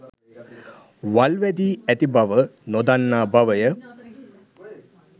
වල් වැදී ඇති බව නොදන්නා බවය